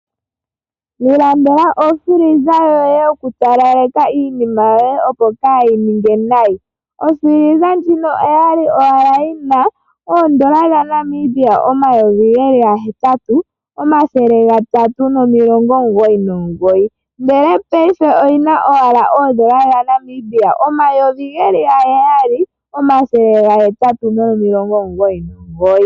Ilandela ofiliza yoye opo wu talaleke iinima yoye kaayi ninge nayi. Ofiliza ndjino oya li owala yi na oondola omayovi gahetatu, omathele gahetatu nomilongo omugoyinomugoyi. Ndele paife oyi na owala oondola dhaNamibia omayovi ge li gaheyali, omathele gahetatu nomilongo omugoyi.